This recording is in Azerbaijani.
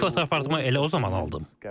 İlk fotoaparatımı elə o zaman aldım.